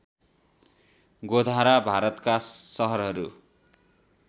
गोधरा भारतका सहरहरू